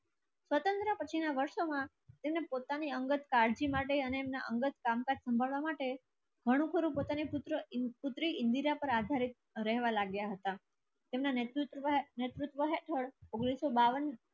તો પછીના વર્ષોમાં તેમને પોતાની અંગત કાળજી માટે અને એમના અંગત કામકાજ સાંભળવા માટે ઘણું ઘણું પર આધારિત રહેવા લાગ્યા હતા. તેમના નેતૃત્વ હેઠળ ઉંગ્નીસ સો બાવન